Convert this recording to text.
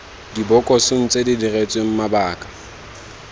dibokosong tse di diretsweng mabaka